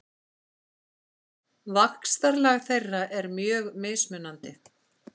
Vaxtarlag þeirra er mjög mismunandi.